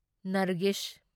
Nargis